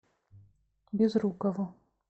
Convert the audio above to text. безрукову